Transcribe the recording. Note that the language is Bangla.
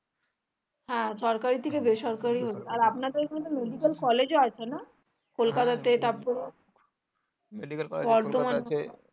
হ্যাঁ সরকারি থেকে যে সরকারি আর আপনাদের ওখানে medical college ও আছে না